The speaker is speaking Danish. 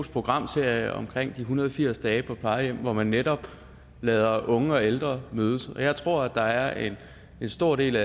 programserie om en hundrede og firs dage på plejehjem hvor man netop lader unge og ældre mødes og jeg tror der er en stor del